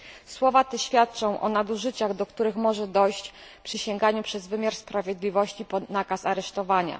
Słowa te świadczą o nadużyciach, do których może dojść przy sięganiu przez wymiar sprawiedliwości po nakaz aresztowania.